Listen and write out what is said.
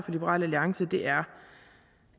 liberal alliance er